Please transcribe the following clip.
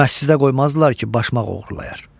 Məscidə qoymazdılar ki, başmaq oğurlayar.